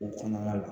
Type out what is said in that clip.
O kɔnɔna la